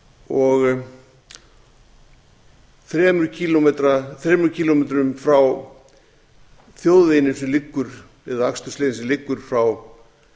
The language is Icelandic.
og þremur kílómetrum frá þjóðveginum eða akstursleið sem liggur frá